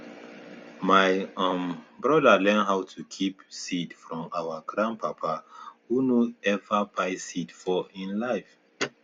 my um broda learn how to keep seed from our grandpapa who nor ever buy seed for e life